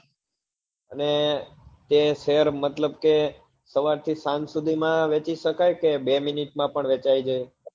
અને તે share મતલબ કે સવાર થી સાંજ સુઘી માં વેચી સકાય કે બે minute માં પણ વેચાઈ જાય